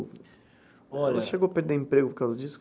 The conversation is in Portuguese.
Olha. Ela chegou a perder emprego por causa disso?